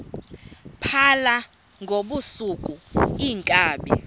phala ngobusuku iinkabi